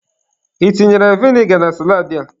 Ị tinyere vinegar na saladị a?